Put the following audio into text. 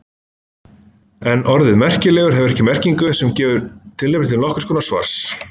En orðið merkilegur hefur ekki merkingu sem gefur tilefni til þess konar svars.